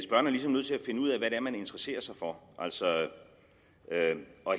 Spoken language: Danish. ligesom nødt til at finde ud af hvad det er man interesserer sig for altså